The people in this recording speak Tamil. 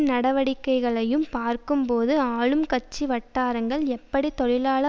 நடவடிக்கைகளையும் பார்க்கும்போது ஆளும் கட்சி வட்டாரங்கள் எப்படி தொழிலாள